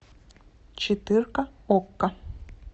четырка окко